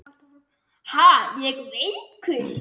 Ha, ég veikur!